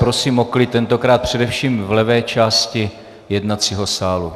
Prosím o klid, tentokrát především v levé části jednacího sálu.